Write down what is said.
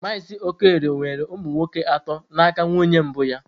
Mazị Okorie nwere ụmụ nwoke atọ na aka nwunye mbụ ya.